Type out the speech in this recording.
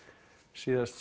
síðast